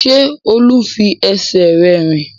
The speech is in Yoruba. Ṣé Olú ń fi ẹsẹ̀ rẹ̀ rìn?